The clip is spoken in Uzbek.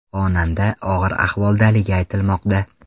Xonanda og‘ir ahvoldaligi aytilmoqda.